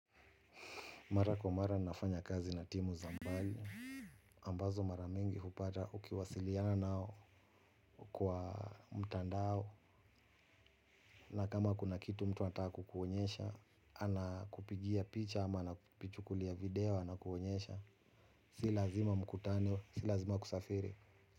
Mara kwa mara nafanya kazi na timu za mbali ambazo mara mingi hupata ukiwasiliana nao kwa mtandao. Na kama kuna kitu mtu ataa kukuonyesha ana kupigia picha ama anapitukulia video anakuonyesha. Si lazima mkutano, si lazima kusafiri.